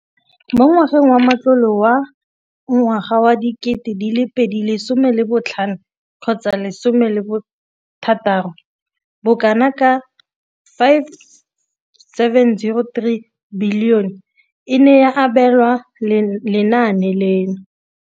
Mo ngwageng wa matlole wa 2015,16, bokanaka R5 703 bilione e ne ya abelwa lenaane leno.